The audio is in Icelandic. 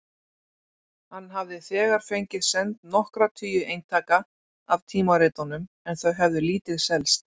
Hann hafði þegar fengið send nokkra tugi eintaka af tímaritunum en þau hefðu lítið selst.